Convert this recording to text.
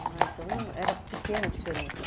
Ah, então era pequena a diferença.